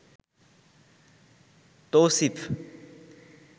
Tausif